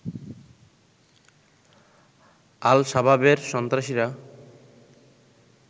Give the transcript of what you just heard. আল-শাবাবের সন্ত্রাসীরা